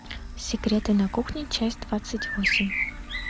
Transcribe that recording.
секреты на кухне часть двадцать восемь